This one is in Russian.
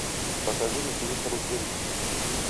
покажи на тв карусель